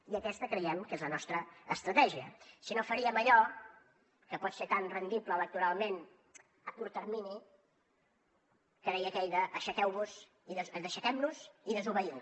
i aquesta creiem que és la nostra estratègia si no faríem allò que pot ser tan rendible electoralment a curt termini que deia aquell aixequem nos i desobeïu